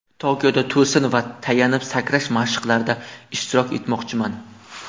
Tokioda to‘sin va tayanib sakrash mashqlarida ishtirok etmoqchiman.